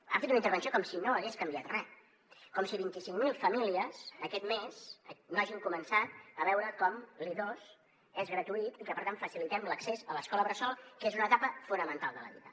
han fet una intervenció com si no hagués canviat re com si vint cinc mil famílies aquest mes no hagin començat a veure com l’i2 és gratuït i que per tant facilitem l’accés a l’escola bressol que és una etapa fonamental de la vida